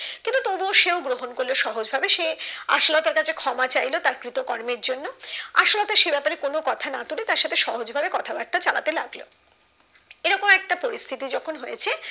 কিন্তু তবু ও সে ও গ্রহণ করলো সহজ ভাবে সে আশালতার কাছে ক্ষমা চাইলো তার কৃতকর্মের জন্য আশালতা সে ব্যাপারে কোনো কথা না তুলে তার সাথে সহজ ভাবে কথা বার্তা চালাতে লাগলো এরকম একটা পরিস্থিতি যখন হয়েছে